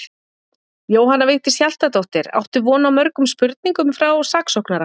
Jóhanna Vigdís Hjaltadóttir: Áttu von á mörgum spurningum frá saksóknara?